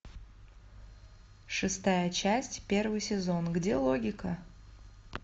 шестая часть первый сезон где логика